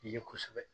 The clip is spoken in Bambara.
Ye kosɛbɛ